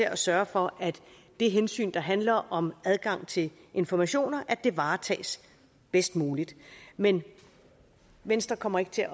at sørge for at det hensyn der handler om adgang til informationer varetages bedst muligt men venstre kommer ikke til